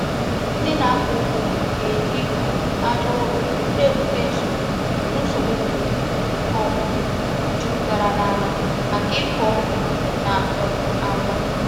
Ndị na-akọ ugbo na-eji um aja ụrọ na-ebute nsogbu nsogbu mmiri um jupụtara n’ala maka ịkụ ọkwụrụ na um agwa.